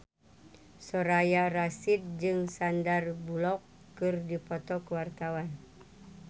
Soraya Rasyid jeung Sandar Bullock keur dipoto ku wartawan